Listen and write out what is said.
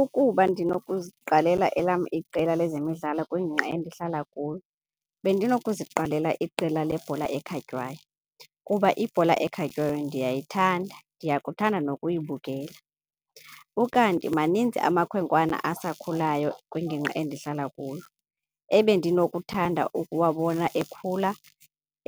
Ukuba ndinokuziqalela elam iqela lezemidlalo kwingingqi endihlala kuyo bendinokuziqalela iqela lebhola ekhatywayo kuba ibhola ekhatywayo ndiyayithanda, ndiyakuthanda nokuyibukela. Ukanti maninzi amakhwenkwana asakhulayo kwingingqi endihlala kuyo ebendinokuthanda ukuwabona ekhula